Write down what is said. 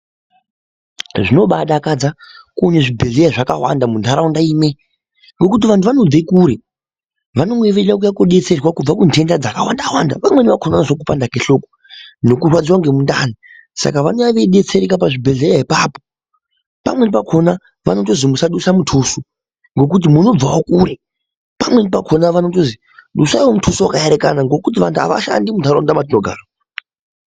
Zvinobadakadza kuona zvibhedhlera zvakawanda muntaraunda imwe. Ngokuti vantu vanobve kure vanenge veiuya kobetserwa kubva kunhenda dzakawanda-wanda. Vamweni vakona unozwe kupanda kuhloko nekurwadziva nemundani saka vanouya veibetsereka pachibhedhleya apapo. Pamweni pakona vanotozi musadusa mutuso nokuti munobvavo kure. Pamweni pakona munotozwi dusaivo mutuso vakaerekana nekuti vantu havashandi muntaraunda matinogara.